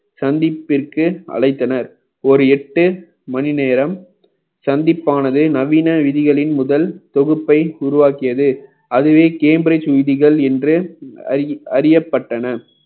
சந்திப்பிற்கு அழைத்தனர் ஒரு எட்டு மணி நேரம் சந்திப்பானது நவீன விதிகளின் முதல் தொகுப்பை உருவாக்கியது அதுவே cambridge விதிகள் என்று அறி~ அறியப்பட்டன